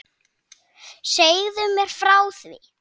Segðu mér frá því?